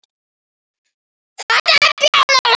Hann var alltaf jafn frábær.